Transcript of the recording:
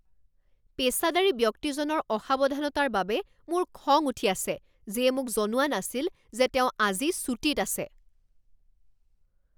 পেচাদাৰী ব্যক্তিজনৰ অসাৱধানতাৰ বাবে মোৰ খং উঠি আছে যিয়ে মোক জনোৱা নাছিল যে তেওঁ আজি ছুটীত আছে।